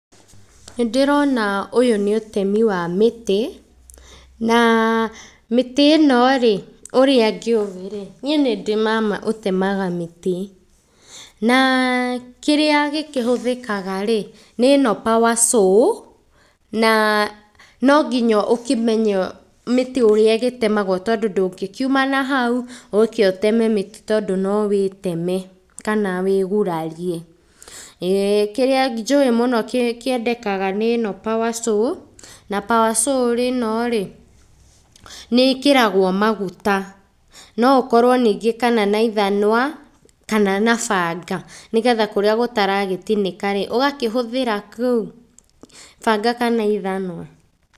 Nĩndĩrona ũyũ nĩ ũtemi wa mĩtĩ, na mĩtĩ ĩno rĩ, ũrĩa ngĩũĩ rĩ, niĩ nĩndĩ mama ũtemaga mĩtĩ. Na kĩrĩa gĩkĩhũthĩkaga rĩ, nĩ ĩno power saw, na nonginya ũkĩmenye mĩtĩ ũrĩa ĩgĩtemagwo tondũ ndũngĩkiuma nahau ũke ũteme mĩtĩ, tondũ no wĩteme, kana wĩgurarie, ĩĩ, kĩrĩa njũĩ mũno kĩ kĩendekaga nĩ ĩno power saw na power saw ĩno rĩ, nĩ ĩkĩragwo maguta, no ũkorwo ningĩ kana na ithanwa kana na banga, nĩgetha kũrĩa gũtaragĩtinĩka rĩ, ũkahũthĩra kũu banga kana ithanwa.